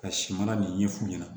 Ka si mana nin ɲɛf'u ɲɛna